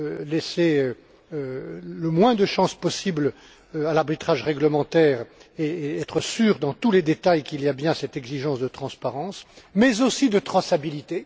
pour laisser le moins de chance possible à l'arbitrage réglementaire et être sûr dans tous les détails qu'il y a bien cette exigence de transparence, mais aussi de traçabilité.